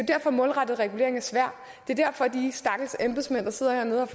derfor målrettet regulering er svært det er derfor at de stakkels embedsmænd der sidder hernede og